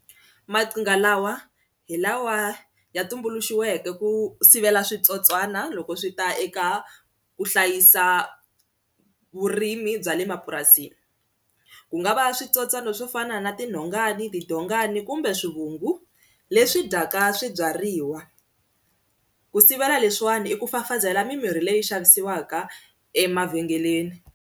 Maqhinga lawa hi lawa ya tumbuluxiweke ku sivela switsotswana loko swi ta eka ku hlayisa vurimi bya le mapurasini ku nga va switsotswana swo fana na tinhongani, tidongani kumbe swivungu leswi dyaka swibyariwa ku sivela leswiwani i ku fafazela mimirhi leyi xavisiwaka emavhengeleni.